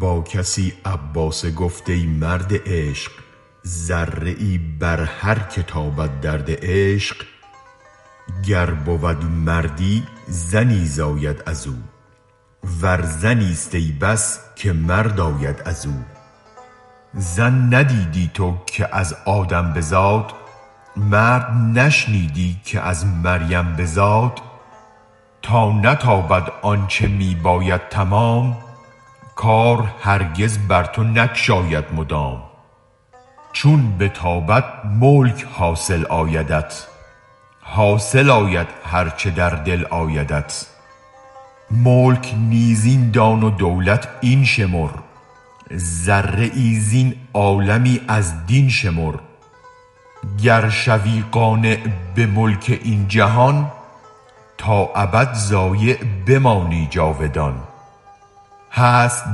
با کسی عباسه گفت ای مرد عشق ذره ای بر هرک تابد درد عشق گر بود مردی زنی زاید ازو ور زنیست ای بس که مرد آید ازو زن ندیدی تو که از آدم بزاد مرد نشنیدی که از مریم بزاد تا نتابد آنچ می باید تمام کار هرگز بر تو نگشاید مدام چون بتابد ملک حاصل آیدت حاصل آید هرچ در دل آیدت ملک نیز این دان و دولت این شمر ذره ای زین عالمی از دین شمر گر شوی قانع به ملک این جهان تا ابد ضایع بمانی جاودان هست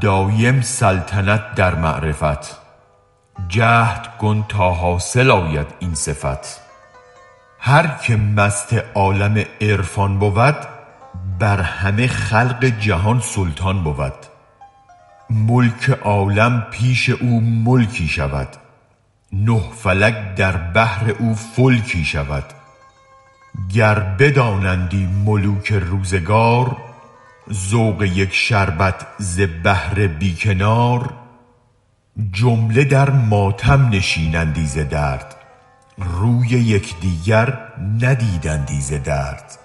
دایم سلطنت در معرفت جهد کن تا حاصل آید این صفت هرک مست عالم عرفان بود بر همه خلق جهان سلطان بود ملک عالم پیش او ملکی شود نه فلک در بحر او فلکی شود گر بدانندی ملوک روزگار ذوق یک شربت ز بحر بی کنار جمله در ماتم نشینندی ز درد روی یک دیگر ندیدندی ز درد